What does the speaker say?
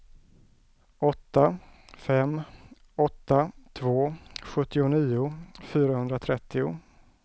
åtta fem åtta två sjuttionio fyrahundratrettio